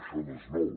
això no és nou